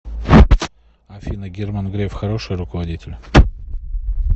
афина герман греф хороший руководитель